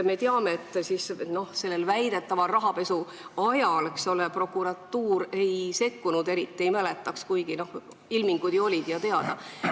Me teame, et väidetava rahapesu ajal, eks ole, prokuratuur eriti ei sekkunud, kuigi ilmingud olid ju teada.